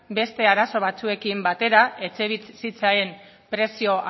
beste arazo batzuekin batera etxebizitzaren prezio